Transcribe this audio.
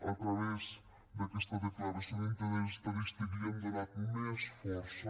a través d’aquesta declaració d’interès estadístic li hem donat més força